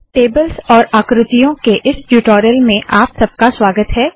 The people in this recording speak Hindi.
टेबल्स और आकृतियों के इस ट्यूटोरियल में आप सबका स्वागत है